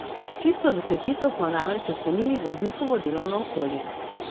S čisto desetico smo namreč ocenili voznikovo delovno okolje.